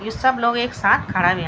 यु सब लोग एक साथ खड़ा हुयां।